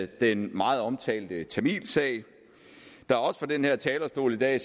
den meget omtalte tamilsag der er også fra den her talerstol i dag